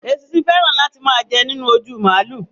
Èṣìsín fẹran láti máa jẹ nínú òjú málù.